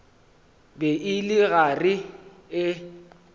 be e le gare e